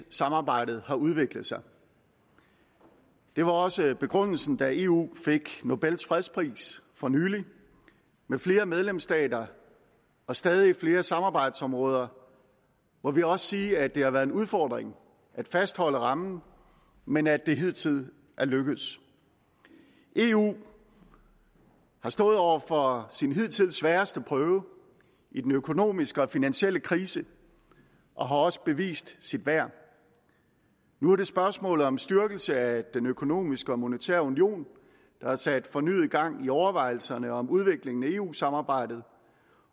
samarbejdet har udviklet sig det var også begrundelsen da eu fik nobels fredspris for nylig med flere medlemsstater og stadig flere samarbejdsområder må vi også sige at det har været en udfordring at fastholde rammen men at det hidtil er lykkedes eu har stået over for sin hidtil sværeste prøve i den økonomiske og finansielle krise og har også bevist sit værd nu er det spørgsmålet om styrkelse af den økonomiske og monetære union der har sat fornyet gang i overvejelserne om udviklingen af eu samarbejdet